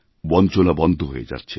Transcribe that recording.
বঞ্চনা বন্ধ হয়ে যাচ্ছে